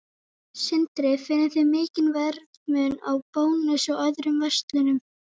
Sindri: Finnið þið mikinn verðmun á Bónus og öðrum verslunum?